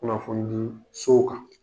Kunnafoni di sow kan.